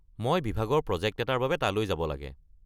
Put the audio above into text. মই বিভাগৰ প্ৰজেক্ট এটাৰ বাবে তালৈ যাব লাগে।